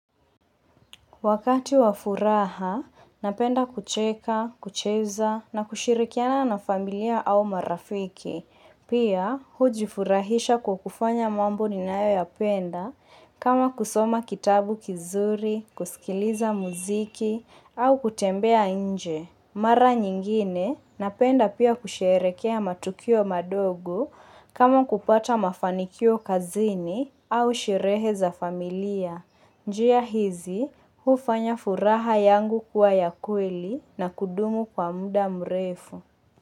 Wakati wa furaha, napenda kucheka, kucheza na kushirikiana na familia au marafiki. Pia, hujifurahisha kwa kufanya mambo ninayoyapenda kama kusoma kitabu kizuri, kusikiliza muziki au kutembea nje. Mara nyingine, napenda pia kusherekea matokeo madogo kama kupata mafanikio kazini au sherehe za familia. Njia hizi, hufanya furaha yangu kuwa ya kweli na kudumu kwa muda mrefu.